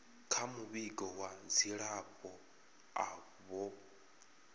kha muvhigo wa dzilafho avho